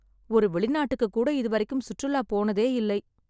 ஒரு வெளிநாட்டுக்கு கூட இதுவரைக்கும் சுற்றுலா போனதே இல்லை.